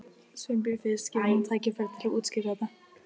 Þarna erum við aftur komin að vatnslitamyndinni.